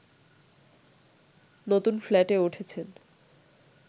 নতুন ফ্ল্যাটে উঠেছেন